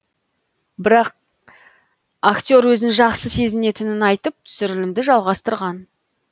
бірақ актер өзін жақсы сезінетінін айтып түсірілімді жалғастырған